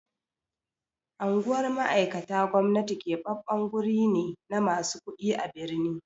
Anguwar mai'aikata gwamnati keɓaɓɓen wurai ne na masu kuɗi a birni.